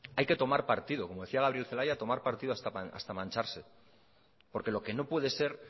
hay que tomar partido como decía gabriel celaya tomar partido hasta mancharse porque lo que no puede ser